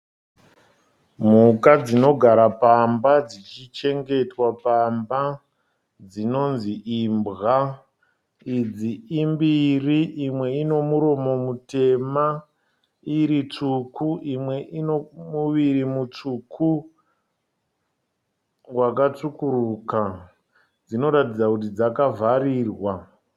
Mhuka dzinogara pamba dzichichengetwa pamba dzinonzi imbwa. Idzi imbiri imwe inomuromo mutema iri tsvuku. Imwe ine muviri mutsvuku wakatsvukuruka. Dzinoratidza kuti dzakavharirwa.